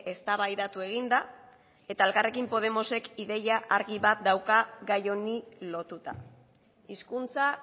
eztabaidatu egin da eta elkarrekin podemosek ideia argi bat dauka gai honi lotuta hizkuntza